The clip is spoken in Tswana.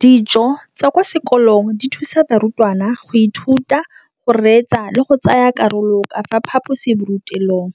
Dijo tsa kwa sekolong dithusa barutwana go ithuta, go reetsa le go tsaya karolo ka fa phaposiborutelong,